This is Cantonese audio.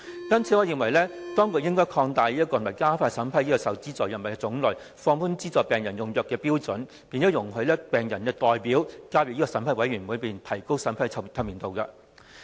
因此，我認為當局應擴大及加快審批受資助藥物的種類，放寬資助病人用藥的標準，並容許病人代表加入有關審批工作的委員會，提高審批的透明度。